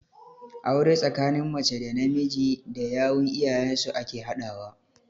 Aure tsakanin mace da namiji da yawun iyayen su ake haɗawa.